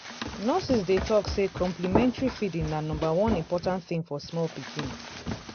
nurses dey talk say complementary feeding na number one important thing for small pikin.